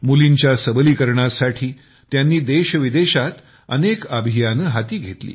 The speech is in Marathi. मुलींच्या सबलीकरणासाठी त्यांनी देशविदेशात अनेक अभियाने हाती घेतली